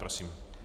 Prosím.